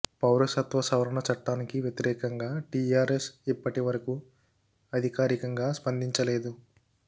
పౌరసత్వ సవరణ చట్టానికి వ్యతిరేకంగా టీఆర్ఎస్ ఇప్పటి వరకూ అధికారికంగా స్పందించలేదు